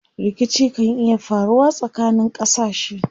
Rikici kan iya faruwa tsakanin ƙasashe.